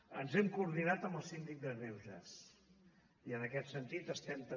ens hem coordinat amb el síndic de greuges i en aquest sentit estem també